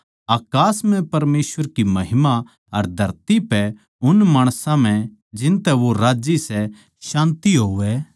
अकास म्ह परमेसवर की महिमा अर धरती पै उन माणसां म्ह जिनतै वो राज्जी सै शान्ति होवै